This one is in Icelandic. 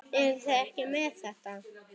Eruð þið ekki með þetta?